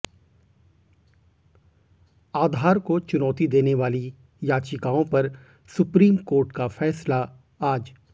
आधार को चुनौती देने वाली याचिकाओं पर सुप्रीम कोर्ट का फैसला आज